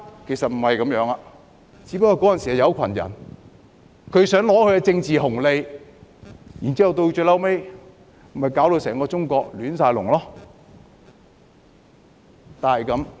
其實不是這樣的，只是當時有一群人想得到政治紅利，最後將整個中國攪到"亂晒大籠"。